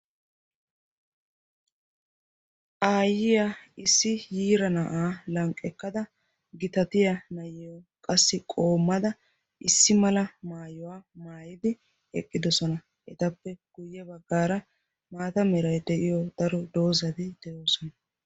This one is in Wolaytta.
Aayyiya issi yiira na'aa lanqqekkada gitatiya nayyo qassi qoommada issi mala maayuwaa maayidi eqqidosona etappe guyye baggaara maata mirae de'iyo daro doozadi de'oosona.